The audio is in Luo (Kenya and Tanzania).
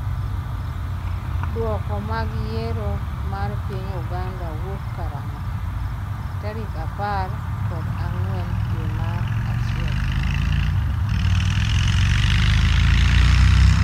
dwoko mag yiero mar piny Uganda kowuok karang'o? tarik apar kod ang'wen dwe mar achiel